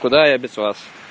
куда я без вас